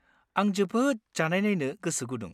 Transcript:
आं जोबोद जानायनायनो गोसो गुदुं।